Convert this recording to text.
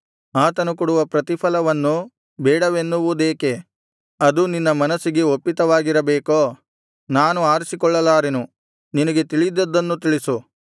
ಆತನು ಕೊಡುವ ಪ್ರತಿಫಲವನ್ನು ಬೇಡವೆನ್ನುವುದೇಕೆ ಅದು ನಿನ್ನ ಮನಸ್ಸಿಗೆ ಒಪ್ಪಿತವಾಗಿರಬೇಕೋ ನೀನೇ ಆರಿಸಿಕೋ ನಾನು ಆರಿಸಿಕೊಳ್ಳಲಾರೆನು ನಿನಗೆ ತಿಳಿದದ್ದನ್ನು ತಿಳಿಸು